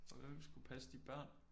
Og hvem skulle passe de børn?